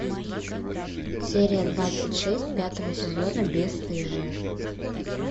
серия двадцать шесть пятого сезона бесстыжие